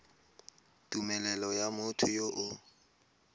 tumelelo ya motho yo o